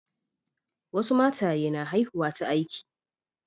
Wasu mataye na haihuwa ta aiki.